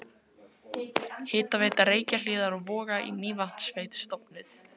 Hitaveita Reykjahlíðar og Voga í Mývatnssveit stofnuð.